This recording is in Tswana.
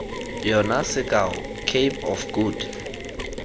yona sekao cape of good